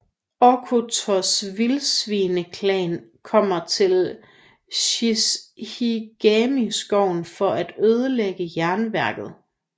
Okkotos Vildsvineklan kommer til Shishigami skoven for at ødelægge jernværket